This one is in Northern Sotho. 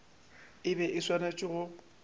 e be e swanetše go